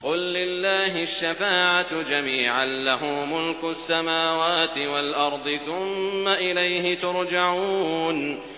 قُل لِّلَّهِ الشَّفَاعَةُ جَمِيعًا ۖ لَّهُ مُلْكُ السَّمَاوَاتِ وَالْأَرْضِ ۖ ثُمَّ إِلَيْهِ تُرْجَعُونَ